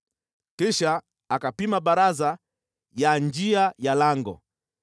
Kisha akapima baraza ya njia ya lango,